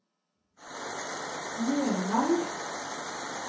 Nervei